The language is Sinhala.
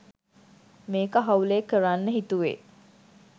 මේක හවුලේ කරන්න හිතුවේ